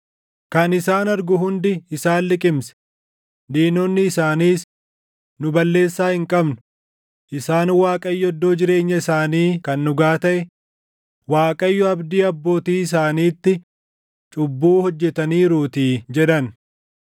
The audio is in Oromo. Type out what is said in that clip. Kan isaan argu hundi isaan liqimse; diinonni isaaniis, ‘Nu balleessaa hin qabnu; isaan Waaqayyo iddoo jireenya isaanii kan dhugaa taʼe, Waaqayyo abdii abbootii isaaniitti cubbuu hojjetaniiruutii’ jedhan.